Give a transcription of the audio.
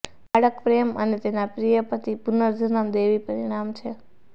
બાળક પ્રેમ અને તેના પ્રિય પતિ પુનર્જન્મ દેવી પરિણામ છે